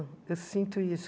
Eu sinto isso.